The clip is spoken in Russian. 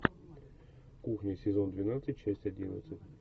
кухня сезон двенадцать часть одиннадцать